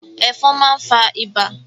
Ẹ̀fọn máa ń fa ibà.